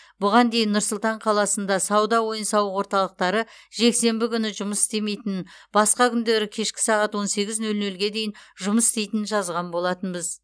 бұған дейін нұр сұлтан қаласында сауда ойын сауық орталықтары жексенбі күні жұмыс істемейтінін басқа күндері кешкі сағат он сегіз нөл нөлге дейін жұмыс істейтінін жазған болатынбыз